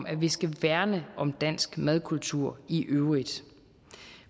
at vi skal værne om dansk madkultur i øvrigt